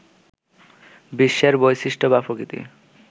বিশ্বের বৈশিষ্ট্য বা প্রকৃতি